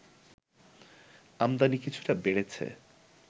আমদানি কিছুটা বেড়েছে